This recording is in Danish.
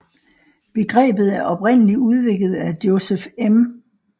Begrebet er oprindeligt udviklet af Joseph M